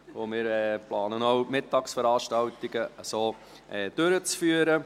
Wir planen, die Mittagsveranstaltungen durchzuführen.